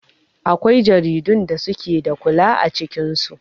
Akwai jaridun da suke da kala a cikin su.